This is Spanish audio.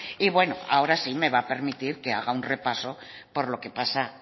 y bueno ahora sí que me va a permitir que haga un repaso por lo que pasa